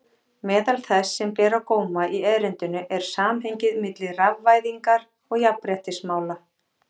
Meðal þess sem ber á góma í erindinu er samhengið milli rafvæðingar og jafnréttismála.